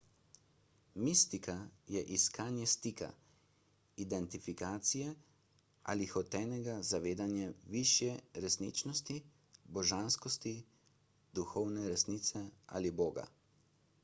mistika je iskanje stika identifikacije ali hotenega zavedanja višje resničnosti božanskosti duhovne resnice ali boga